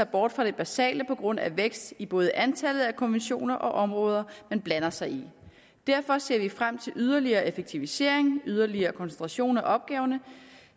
bort fra det basale på grund af vækst i både antallet af konventioner og områder man blander sig i derfor ser vi frem til yderligere effektivisering yderligere koncentration af opgaverne